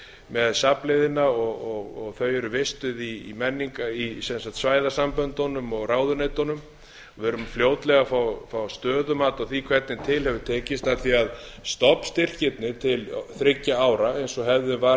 með safnliðina þau eru vistuð í svæðasamböndunum og ráðuneytunum við erum fljótlega að fá stöðumat á því hvernig til hefur tekist af því stofnstyrkirnir til þriggja ára eins og hefðin var